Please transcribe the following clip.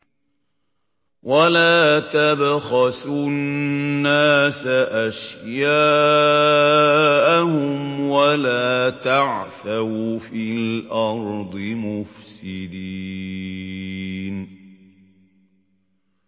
وَلَا تَبْخَسُوا النَّاسَ أَشْيَاءَهُمْ وَلَا تَعْثَوْا فِي الْأَرْضِ مُفْسِدِينَ